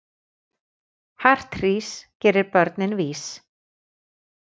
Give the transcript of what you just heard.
Hart hrís gerir börnin vís.